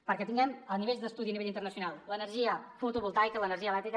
perquè tinguem a nivells d’estudi a nivell internacional l’energia fotovoltaica l’energia elèctrica